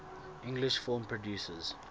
english film producers